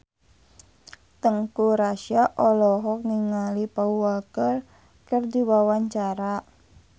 Teuku Rassya olohok ningali Paul Walker keur diwawancara